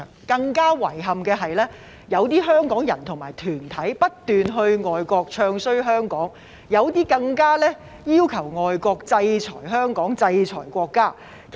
更遺憾的是，有些香港人和團體不斷到外國"唱衰"香港，有些更加要求外國制裁香港，制裁國家。